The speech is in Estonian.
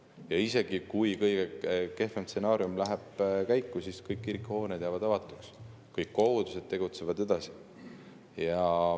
Ja isegi kui kõige kehvem stsenaarium läheb käiku, siis kõik kirikuhooned jäävad avatuks, kõik kogudused tegutsevad edasi.